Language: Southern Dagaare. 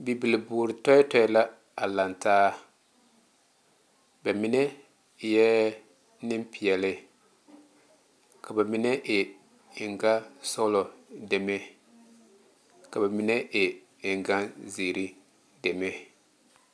Bibile boore tɛɛtɛɛ la zeŋ lantaa ba mine eɛ Nenpeɛle ka ba mine e eŋ gane sɔglɔ deme ka ba mine e eŋ gane seere deme